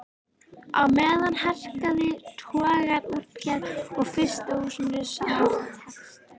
Á meðan hrakaði togaraútgerð og frystihúsarekstri.